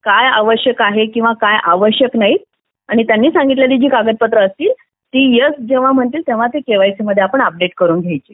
काय आवश्यक आहे आणि काय आवश्यक नाही आणि त्यांनी सांगितलेली कागदपत्र असतील ते एस म्हणतील तेव्हा ते केवायसी मध्ये आपण अपडेट करायची